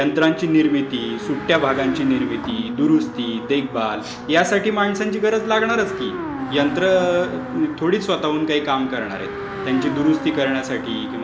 यंत्रांची निर्मिती, सुट्ट्या भागांची निर्मिती, दुरूस्ती, देखभाल यासाठी माणसांची गरज लागणारच की. यंत्र थोडीच स्वत:हून काही काम करणार आहेत. त्यांची दुरूस्ती करण्यासाठी...